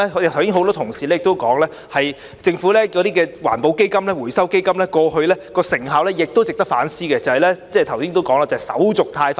剛才很多同事也提及，政府的環保基金、回收基金過去成效不彰，亦值得反思，即我剛才提到手續太繁複。